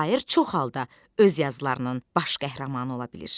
Şair çox halda öz yazılarının baş qəhrəmanı ola bilir.